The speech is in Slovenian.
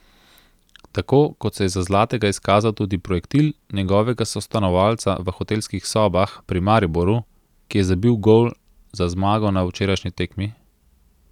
Tako kot se je za zlatega izkazal tudi projektil njegovega sostanovalca v hotelskih sobah pri Mariboru, ki je zabil gol za zmago na včerajšnji tekmi.